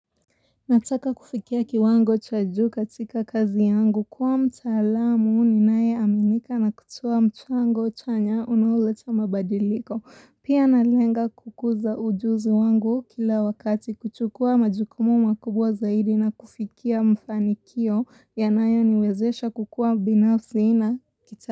Nataka kufikia kiwango cha juu katika kazi yangu kuwa mtaalamu ninaye aminika na kutoa mchango chanya unaoleta mabadiliko. Pia na lenga kukuza ujuzi wangu kila wakati kuchukua majukumu makubwa zaidi na kufikia mfanikio yanayo niwezesha kukua binafsi na kita.